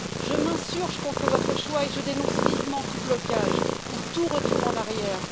Je m'insurge contre votre choix et je dénonce vivement tout blocage ou tout retour en arrière.